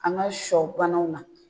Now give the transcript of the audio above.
An ka sɔ banaw la